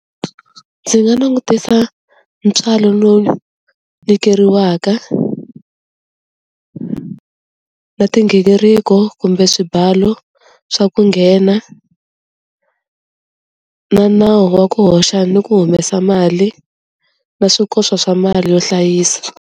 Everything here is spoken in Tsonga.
Ndzi nga langutisa ntswalo lowu nyikeriwaka na tinghingiriko kumbe swibalu swa ku nghena na nawu wa ku hoxa ni ku humesa mali na swikoxo swa mali yo hlayisa.